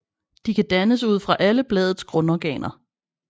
De kan dannes ud fra alle bladets grundorganer